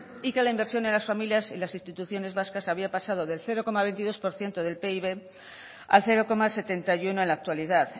y que la inversión en las familias y las instituciones vascas había pasado del cero coma veintidós por ciento del pib al cero coma setenta y uno en la actualidad